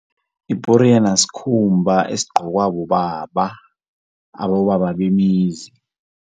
Iporiyana sikhumba esigcokwa bobaba, abobaba bemizi.